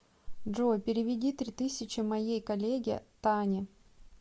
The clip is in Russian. джой переведи три тысячи моей коллеге тане